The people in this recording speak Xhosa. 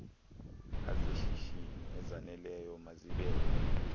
azeshishini ezaneleyo mazibekwe